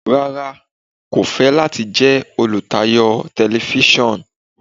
Rárá, Emi ko fẹ lati jẹ olutayo Tẹlifisiọnu